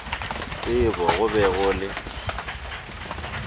tsebo go be go le